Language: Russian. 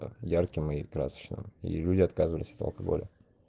там ярким и красочными и люди отказывались от алкоголя